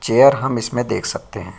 Chair हम इसमे हम देख सकते है।